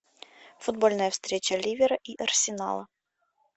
футбольная встреча ливера и арсенала